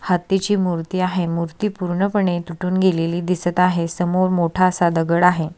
हत्तीची मूर्ती आहे मूर्ती पूर्ण पणे तुटून गेलेली दिसत आहे समोर मोठासा दगड आहे.